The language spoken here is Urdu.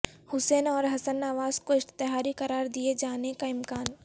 حسین اور حسن نواز کو اشتہاری قرار دیئے جانے کا امکان